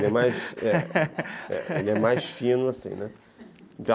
Ele é mais ele mais fino, assim, né